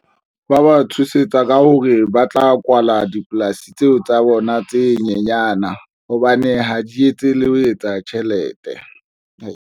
Ba ba tshosetsa ka hore ba tla kwala dipolasi tseo tsa bona tse nyenyana hobane ha di etse le ho etsa tjhelete.